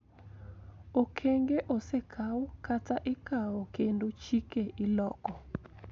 Okenge osekaw kata ikawo kendo chike iloko